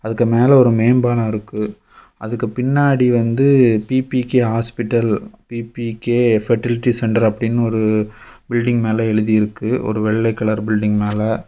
அதுக்கு மேல ஒரு மேம்பாலம் இருக்கு அதுக்கு பின்னாடி வந்து B B K hospital B B K fertility centre அப்படின்னு ஒரு பில்டிங் மேல எழுதி இருக்கு ஒரு வெள்ள கலர் பில்லிங் மேல.